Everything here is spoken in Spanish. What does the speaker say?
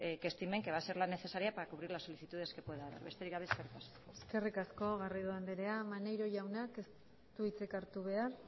que estimen que va a ser las necesarias para cubrir las solicitudes que puedan besterik gabe eskerrik asko eskerrik asko garrido andrea maneiro jaunak ez du hitzik hartu behar